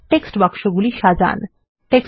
ওই টেক্সট বাক্সগুলি সাজান